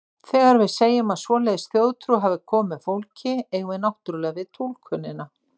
Þegar við segjum að svoleiðis þjóðtrú hafi komið með fólki, eigum við náttúrlega við túlkunina.